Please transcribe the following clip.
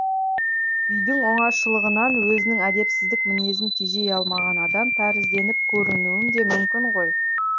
үйдің оңашалығынан өзінің әдепсіздік мінезін тежей алмаған адам тәрізденіп көрінуім де мүмкін ғой